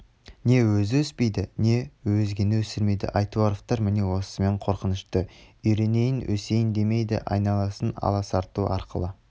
не өзі өспейді не өзгені өсірмейді айтуаровтар міне осысымен қорқынышты үйренейін өсейін демейді айналасын аласарту арқылы